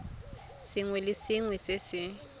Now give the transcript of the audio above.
sengwe le sengwe se se